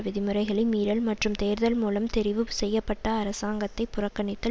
விதிமுறைகளை மீறல் மற்றும் தேர்தல் மூலம் தெரிவு செய்யப்பட்ட அரசாங்கத்தை புறக்கணித்தல்